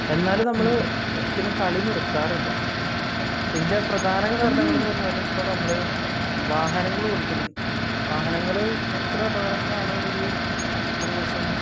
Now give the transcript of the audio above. എന്നാലും നമ്മൾ ഒരിക്കലും കളി നിർത്താറില്ല. ഇതിന്റെ പ്രധാന കാരണങ്ങൾ കാരണങ്ങൾ എന്ന് പറഞ്ഞാൽ ഇപ്പോൾ നമ്മൾ വാഹനങ്ങൾ ഓടിക്കുന്നുണ്ട്. വാഹനങ്ങൾ എത്ര അപകടങ്ങളാണ് ഒരു ദിവസം